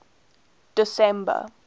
december